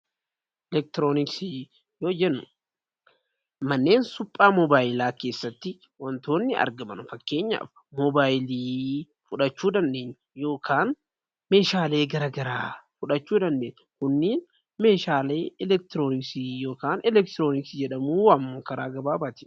Elektirooniksiin wantoota suphaa moobayilaa keessatti argaman ta'uu ni danda'a. Yookiin meeshaalee garagaraa fudhachuu dandeenya isaan Kun immoo meeshaalee elektirooniksii jedhamu.